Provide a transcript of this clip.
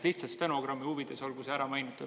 Lihtsalt stenogrammi huvides olgu see ära mainitud.